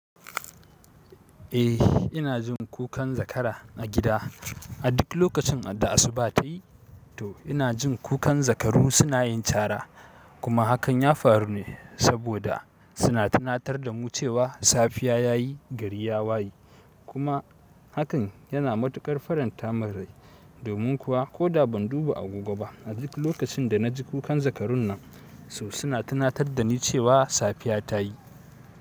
Eh ina jin kukan zakara a gida a duk lokacin da asuba tayi to ina jin kukan zakaru suna yin cara kuma hakan ya faru ne saboda suna tunatar da mu cewa safiya yayi gari ya wayi kuma hakan yana matukar faranta min rai. Domin kuwa koda ban duba agogo ba a duk lokacin da na ji kukan zakarun nan to suna tunatar dani cewa sagiya tayi.